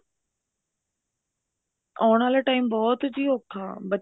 ਆਉਣ ਆਲਾ time ਬਹੁਤ ਹੀ ਔਖਾ ਬੱਚੇ